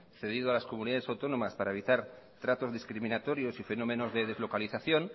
cedido a las comunidad autónomas para evitar tratos discriminatorios y fenómenos de deslocalización